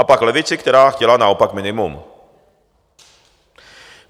A pak levici, která chtěla naopak minimum.